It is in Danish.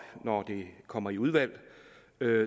når det kommer i udvalg